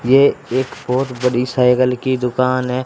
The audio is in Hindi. ये एक बहोत बड़ी साइकिल की दुकान है।